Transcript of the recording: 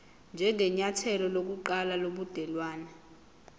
njengenyathelo lokuqala lobudelwane